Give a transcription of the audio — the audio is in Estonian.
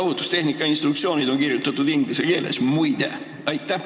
Ohutustehnika instruktsioonid on kirjutatud inglise keeles, muide!